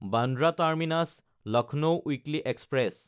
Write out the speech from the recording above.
Bandra টাৰ্মিনাছ–লক্ষ্ণৌ weekly express